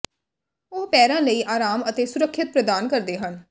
ਉਹ ਪੈਰਾਂ ਲਈ ਆਰਾਮ ਅਤੇ ਸੁਰੱਖਿਆ ਪ੍ਰਦਾਨ ਕਰਦੇ ਹਨ